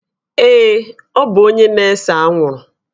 Ee, ọ bụ onye na-ese anwụrụ